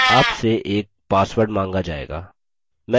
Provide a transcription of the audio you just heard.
आपसे एक password माँगा जाएगा